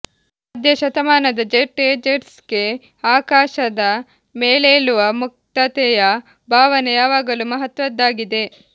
ಮಧ್ಯ ಶತಮಾನದ ಜೆಟ್ ಏಜರ್ಸ್ಗೆ ಆಕಾಶದ ಮೇಲೇಳುವ ಮುಕ್ತತೆಯ ಭಾವನೆ ಯಾವಾಗಲೂ ಮಹತ್ವದ್ದಾಗಿದೆ